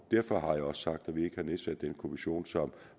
derfor har jeg også sagt at vi ikke kan nedsætte den kommission som